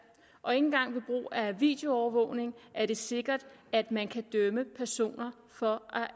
og ikke engang ved brug af videoovervågning er det sikkert at man kan dømme personer for